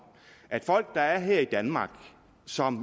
at folk der er her i danmark og som